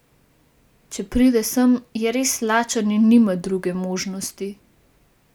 Če pride sem, je res lačen in nima druge možnosti.